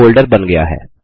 folder बन गया है